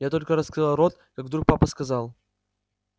я только раскрыла рот как вдруг папа сказал